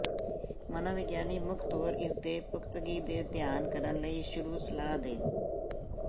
ਮਨੋਵਿਗਿਆਨੀ ਮੁੱਖ ਤੌਰ ਇਸ ਦੇ ਪੁਖ਼ਤਗੀ ਤੇ ਧਿਆਨ ਕਰਨ ਲਈ ਸ਼ੁਰੂ ਸਲਾਹ ਦੇ